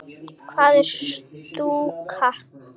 Hvað er stúka?